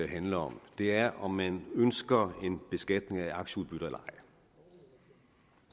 handler om det er om man ønsker en beskatning af aktieudbytter eller ej